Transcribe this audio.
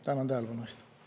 Tänan tähelepanu eest!